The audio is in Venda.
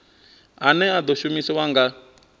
ane a ḓo shumiswa nga